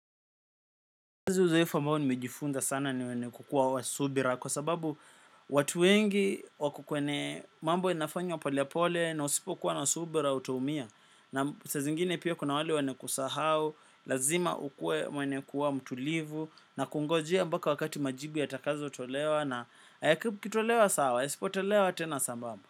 Kazi uzoefu ambao nimejifunza sana ni wenye kukuwa wa subira kwa sababu watu wengi wako kwenye mambo inafanywa polepole na usipo kuwa na subira utaumia. Naam, sa zingine pia kuna wale wenye kusahau, lazima ukue mwenye kuwa mtulivu na kungojea mpaka wakati majibu yatakazotolewa na yakitolewa sawa, yasipotolewa tena sambamba.